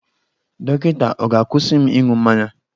Dọkịta ọ̀ ga-akwụsị m ịṅụ mmanya?